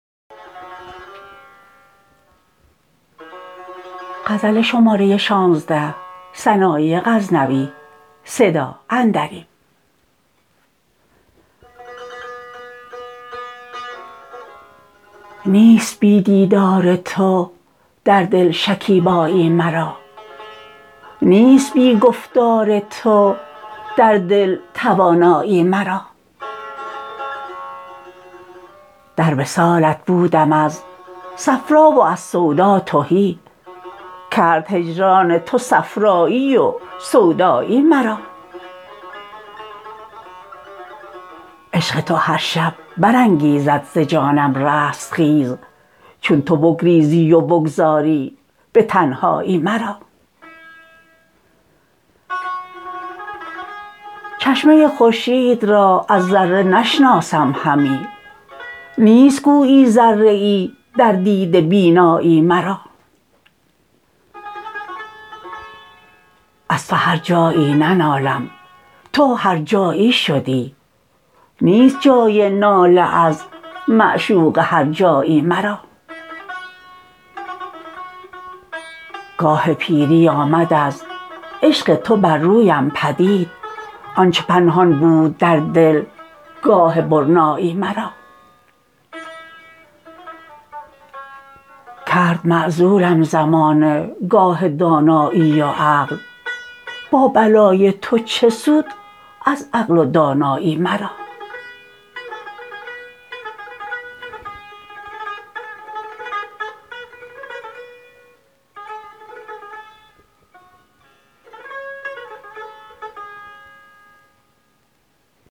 نیست بی دیدار تو در دل شکیبایی مرا نیست بی گفتار تو در دل توانایی مرا در وصالت بودم از صفرا و از سودا تهی کرد هجران تو صفرایی و سودایی مرا عشق تو هر شب برانگیزد ز جانم رستخیز چون تو بگریزی و بگذاری به تنهایی مرا چشمه خورشید را از ذره نشناسم همی نیست گویی ذره ای در دیده بینایی مرا از تو هر جایی ننالم تا تو هر جایی شدی نیست جای ناله از معشوق هر جایی مرا گاه پیری آمد از عشق تو بر رویم پدید آن چه پنهان بود در دل گاه برنایی مرا کرد معزولم زمانه گاه دانایی و عقل با بلای تو چه سود از عقل و دانایی مرا